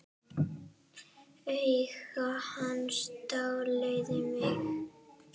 Augu hans dáleiða mig.